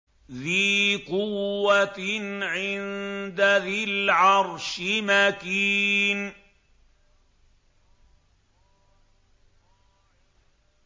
ذِي قُوَّةٍ عِندَ ذِي الْعَرْشِ مَكِينٍ